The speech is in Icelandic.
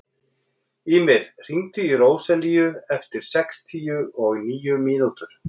Ýmir, hringdu í Róselíu eftir sextíu og níu mínútur.